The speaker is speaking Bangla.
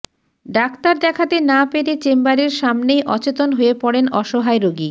ডাক্তার দেখাতে না পেরে চেম্বারের সামনেই অচেতন হয়ে পড়েন অসহায় রোগী